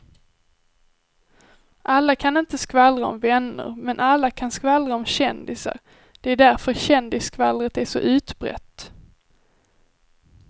Alla kan inte skvallra om vänner men alla kan skvallra om kändisar, det är därför kändisskvallret är så utbrett.